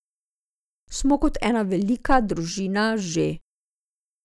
Smo kot ena velika družina že.